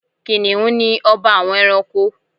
Kìnìhún ni ọba àwọn ẹranko